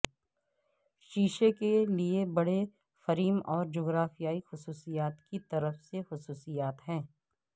شیشے کے لئے بڑے فریم اور جغرافیائی خصوصیات کی طرف سے خصوصیات ہیں